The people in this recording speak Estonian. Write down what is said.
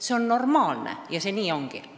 See on normaalne ja nii ongi.